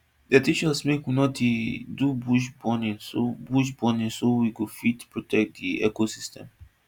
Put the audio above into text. dem teach us make we no dey do bush burning so bush burning so we go fit protect di ecosystem